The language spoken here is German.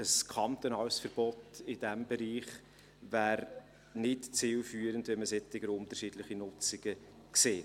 Ein kantonales Verbot in diesem Bereich wäre nicht zielführend, wenn man solche unterschiedlichen Nutzungen sieht.